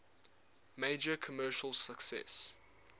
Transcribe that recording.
major commercial success